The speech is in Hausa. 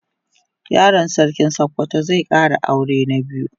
Yaron sarkin sokoto zai Kara aure na biyu